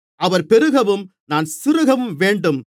அவர் பெருகவும் நான் சிறுகவும் வேண்டும்